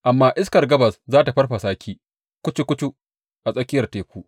Amma iskar gabas za tă farfasa ki kucu kucu a tsakiyar teku.